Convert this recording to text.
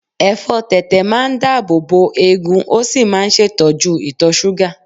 Ẹ̀fọ́ tẹ̀tẹ̀ máa ń dáàbòbo eegun ó sì máa ń ṣètọ́jú ìtọ-ṣúgà.